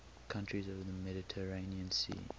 countries of the mediterranean sea